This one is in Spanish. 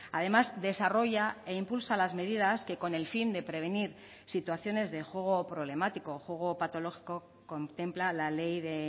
además desarrolla e impulsa las medidas que con el fin de prevenir situaciones de juego problemático o juego patológico contempla la ley de